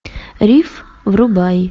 риф врубай